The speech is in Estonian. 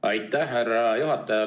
Aitäh, härra juhataja!